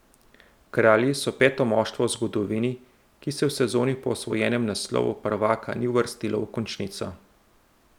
Kralji so peto moštvo v zgodovini, ki se v sezoni po osvojenem naslovu prvaka ni uvrstilo v končnico.